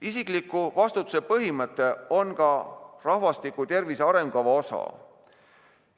Isikliku vastutuse põhimõte on ka rahvastiku tervise arengukava osa.